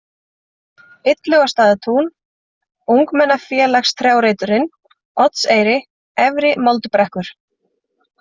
Illugastaðatún, Ungmennafélagstrjáreiturinn, Oddseyri, Efri-Moldbrekkur